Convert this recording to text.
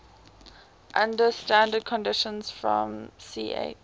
under standard conditions from ch